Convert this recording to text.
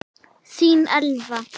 Þín Elfa.